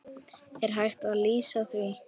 Er hægt að lýsa því?